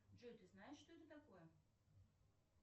джой ты знаешь что это такое